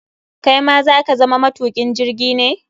Kai ma za ka zama matukin jirgi ne?